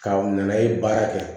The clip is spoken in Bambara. Ka na ye baara kɛ